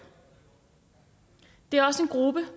det er også en gruppe